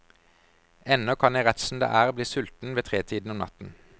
Ennå kan jeg rett som det er bli sulten ved tretiden om natten.